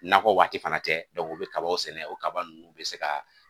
N'afɔ waati fana tɛ u bɛ kaba sɛnɛ o kaba ninnu bɛ se ka